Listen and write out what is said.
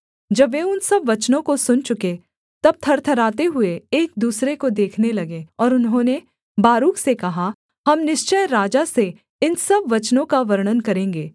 जब वे उन सब वचनों को सुन चुके तब थरथराते हुए एक दूसरे को देखने लगे और उन्होंने बारूक से कहा हम निश्चय राजा से इन सब वचनों का वर्णन करेंगे